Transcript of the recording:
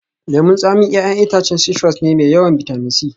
Lemun tsami 'ya'yan itacen citrus ne mai yawan bitamin C